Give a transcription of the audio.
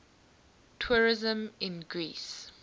tourism in greece